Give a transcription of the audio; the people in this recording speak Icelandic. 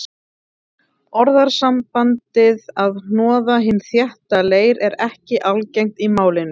Orðasambandið að hnoða hinn þétta leir er ekki algengt í málinu.